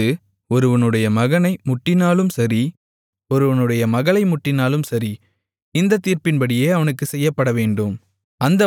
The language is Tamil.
அது ஒருவனுடைய மகனை முட்டினாலும் சரி ஒருவனுடைய மகளை முட்டினாலும் சரி இந்தத் தீர்ப்பின்படியே அவனுக்குச் செய்யப்படவேண்டும்